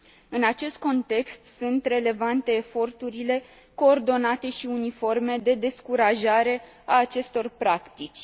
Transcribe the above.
În acest context, sunt relevante eforturile coordonate și uniforme de descurajare a acestor practici.